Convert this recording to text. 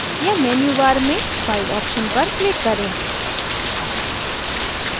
या menu bar में file option पर क्लिक करें